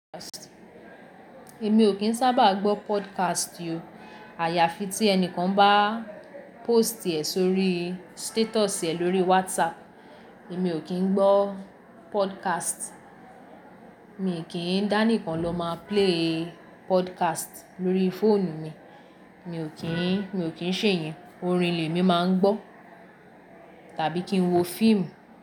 Èmi ò kí ń sábà gbọ́ podcast óò. Àyàfi tí ẹni kan bá post rẹ̀ sórí status rẹ̀ lórí WhatsApp, èmi ò kí ń gbọ́ podcast. Mi kì í dání kan lọ máa play podcast lórí fóònù mi. Mi ò kí ń, mi ò kí ń ṣe iyẹn. Orin lè mi máa ń gbọ́ tàbí kí n wo fíìmù.